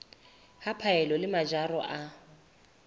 ya phaello le mojaro wa